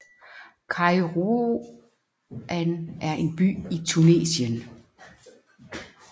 Kairouan er en by i Tunesien